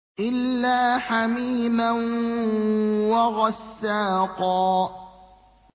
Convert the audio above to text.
إِلَّا حَمِيمًا وَغَسَّاقًا